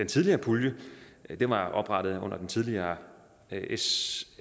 tidligere pulje var oprettet under den tidligere s